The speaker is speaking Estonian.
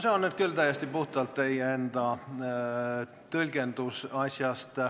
See on nüüd küll täiesti puhtalt teie enda tõlgendus.